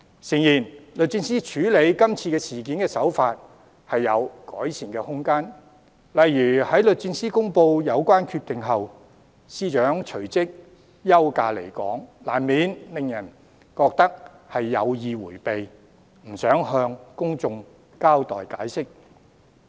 誠然，律政司處理今次事件的手法有改善的空間，例如在律政司公布有關決定後，司長隨即休假離港，難免令人覺得是有意迴避，不想向公眾交代解釋。